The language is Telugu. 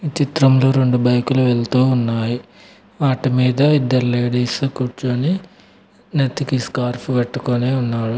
ఈ చిత్రంలో రెండు బైకులు వెళ్తూ ఉన్నాయి వాటి మీద ఇద్దరు లేడీసు కూర్చుని నెత్తికి స్కార్ఫ్ కట్టుకొని ఉన్నారు.